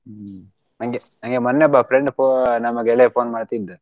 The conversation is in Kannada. ಹ್ಮ್ ಹಂಗೆ ನಂಗೆ ಮೊನ್ನೆ ಒಬ್ಬ friend pho~ ನಮ್ಮ ಗೆಳೆಯ phone ಮಾಡ್ತಿದ್ದ.